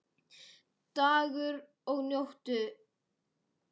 Dagur og Nótt.